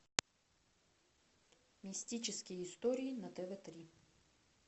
мистические истории на тв три